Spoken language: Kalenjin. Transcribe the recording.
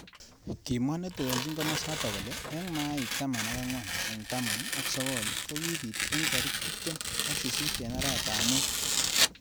Kimwa netelejin kimosatak kole eng maik taman ak angwan eng taman ak sokol kokibit eng tarik tiptem.ak sisit eng arawet ab mut.